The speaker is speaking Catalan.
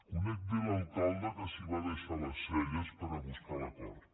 conec bé l’alcalde que s’hi va deixar les celles per buscar l’acord